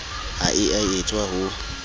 ha e a etswa ho